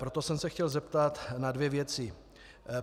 Proto jsem se chtěl zeptat na dvě věci.